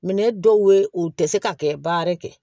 Minɛn dɔw ye u tɛ se ka kɛ baara kɛ